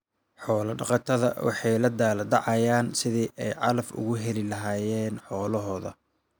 Xoolo dhaqato waxay la daalaa dhacayaan sidii ay calaf uga heli lahaayeen xoolahooda.